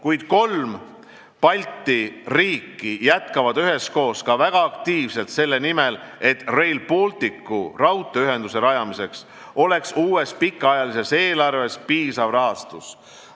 Kuid kolm Balti riiki jätkavad üheskoos ka väga aktiivset tööd selle nimel, et Rail Balticu raudteeühenduse rajamiseks oleks uues pikaajalises eelarves piisav rahastus.